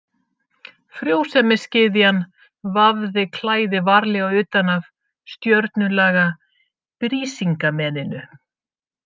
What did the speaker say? Frjósemisgyðjan vafði klæði varlega utan af stjörnulaga Brísingameninu.